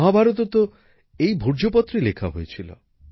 মহাভারতও তো এই ভূর্জপত্রেই লেখা হয়েছিল